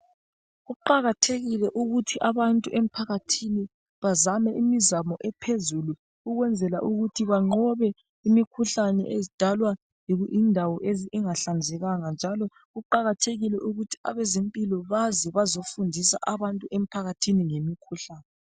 kuqakathekile ukuthi abantu emphakathini bazame imizamo ephezulu ukwenzela ukuthi banqobe imikhuhlane edalwa yindawo engahlanzekanga njalo kuqakathekile ukuthi abezempilo baze bazofundisa abantu emphakathini ngemikhuhlane.